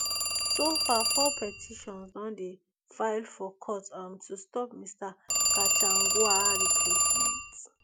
so far four petitions don dey filed for court um to stop mr gachagua replacement